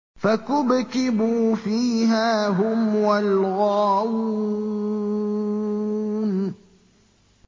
فَكُبْكِبُوا فِيهَا هُمْ وَالْغَاوُونَ